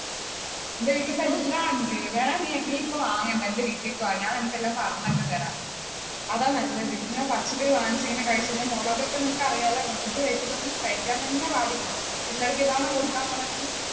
എന്റെ വീട്ടിൽ ഇപ്പ എല്ലാം ഉണ്ട്, വേണമെങ്കിൽ നീ ഇപ്പോ വാങ്ങണ്ട എന്റെ വീട്ടിലേക്ക് വാ ഞാൻ നിനക്ക് എല്ലാം പറഞ്ഞോക്കെ തരാം. അതാ നല്ലത്, ഇങ്ങനെ പച്ചക്കറി വാങ്ങിച്ച് എങ്ങനെ കഴിച്ചു കഴിഞ്ഞാൽ മുളക് ഒക്കെ നിനക്കറിയാലോ മുളക് കഴിക്കാൻ തന്നെ പാടില്ല, പിള്ളാർക്ക് അതാണോ കൊടുക്കാൻ പോണേ നീ.